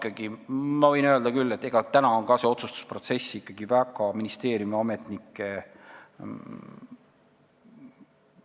Aga ma võin küll öelda, et praegu on see otsustusprotsess ikkagi väga ministeeriumiametnikega seotud.